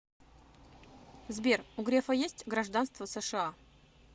сбер у грефа есть гражданство сша